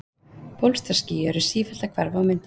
bólstraský eru sífellt að hverfa og myndast